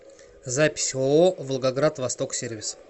запись ооо волгоград восток сервис